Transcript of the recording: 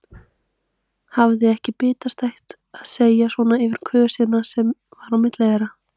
Hafði ekkert bitastætt að segja svona yfir kösina sem var á milli þeirra.